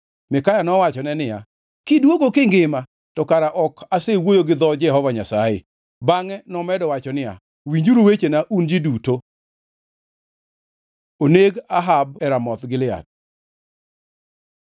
Mikaya nowachone niya, “Kidwogo kingima, to kara ok asewuoyo gi dho Jehova Nyasaye.” Bangʼe nomedo wacho niya, “Winjuru wechena un ji duto!” Onego Ahab e Ramoth Gilead